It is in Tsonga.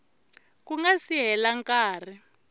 ku nga si hela nkarhi